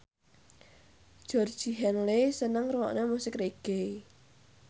Georgie Henley seneng ngrungokne musik reggae